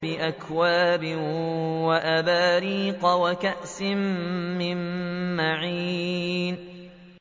بِأَكْوَابٍ وَأَبَارِيقَ وَكَأْسٍ مِّن مَّعِينٍ